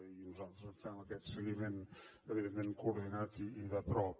i nosaltres en fem aquest seguiment evidentment coordinat i de prop